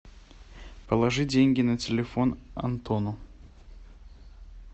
положи деньги на телефон антону